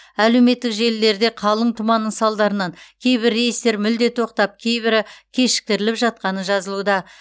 әлеуметтік желілерде қалың тұманның салдарынан кейбір рейстер мүлде тоқтап кейбірі кешіктіріліп жатқаны жазылуда